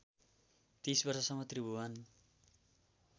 ३० वर्षसम्म त्रिभुवन